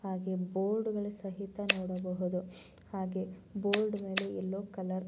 ಹಾಗೆ ಬೋರ್ಡ್ ಗಳು ಸಹಿತ ನೋಡಬಹದು ಹಾಗೆ ಬೋರ್ಡ್ ಮೇಲೆ ಯಲ್ಲೋ ಕಲರ್ --